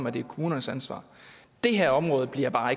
at det er kommunernes ansvar det her område bliver bare